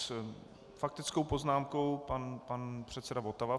S faktickou poznámkou pan předseda Votava.